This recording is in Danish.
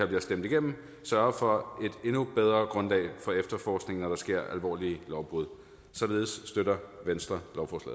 bliver stemt igennem sørger for et endnu bedre grundlag for efterforskning når der sker alvorlige lovbrud således støtter venstre